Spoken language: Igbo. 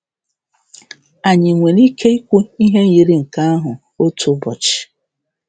Anyị nwere ike ikwu ihe yiri nke ahụ otu ụbọchị?